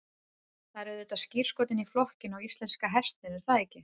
Það er auðvitað skírskotun í flokkinn og íslenska hestinn er það ekki?